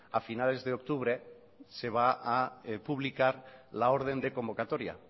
a finales de octubre se va a publicar la orden de convocatoria